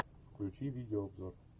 включи видеообзор